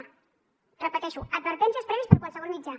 ho repeteixo advertències prèvies per qualsevol mitjà